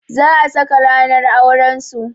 Za a saka ranar auran su.